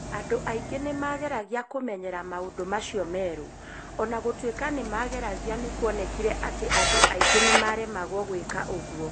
Andũ aingĩ nĩ maageragia kũmenyera maũndũ macio merũ.O na gũtuĩka nĩ maageragia nĩ kuonekire atĩ andũ aingĩ nĩ maaremagwo gwĩka ũguo.